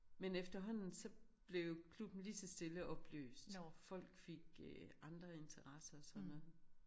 Men efterhånden så blev klubben lige så stille opløst folk fik øh andre interesser og sådan noget